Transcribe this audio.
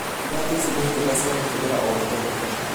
Iratũ ici nĩ njega cia kũhũthĩra o mũthenya